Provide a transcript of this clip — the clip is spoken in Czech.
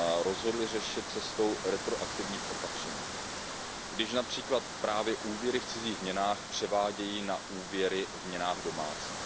rozhodly řešit cestou retroaktivních opatření, když například právě úvěry v cizích měnách převádějí na úvěry v měnách domácích.